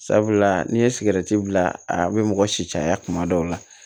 Sabula n'i ye sigɛriti bila a bɛ mɔgɔ si caya kuma dɔw la